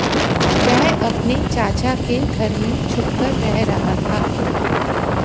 वह अपने चाचा के घर में छुपकर रह रहा था